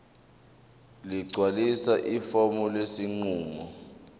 ligcwalise ifomu lesinqumo